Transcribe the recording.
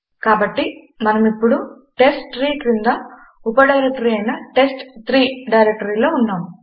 కాబట్టి మనము ఇప్పుడు టెస్ట్ట్రీ క్రింద ఉప డైరెక్టరీ అయిన టెస్ట్3 డైరెక్టరీలో ఉన్నాము